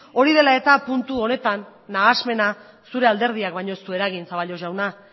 hori dela eta puntu honetan nahasmena zure alderdiak baino ez du eragin zaballos jauna